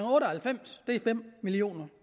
otte og halvfems er fem million